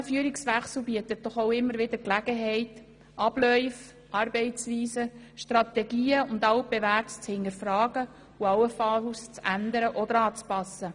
Ein solcher Führungswechsel bietet auch immer wieder Gelegenheit, Abläufe, Arbeitsweisen, Strategien und Altbewährtes zu hinterfragen und allenfalls zu ändern oder anzupassen.